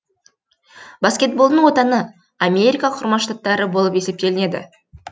баскетболдың отаны америка құрама штаттары болып есептелінеді